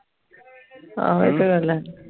ਆਹੋ ਇਹ ਤੇ ਗੱਲ ਹੈ